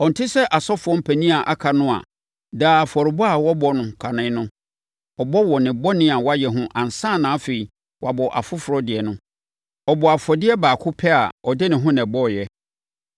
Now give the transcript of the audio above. Ɔnte sɛ asɔfoɔ mpanin a aka no a, daa afɔrebɔ a ɔbɔ no kane no ɔbɔ wɔ ne bɔne a wayɛ ho ansa na afei, wabɔ afoforɔ deɛ no. Ɔbɔɔ afɔdeɛ baako pɛ a ɔde ne ho na ɛbɔeɛ.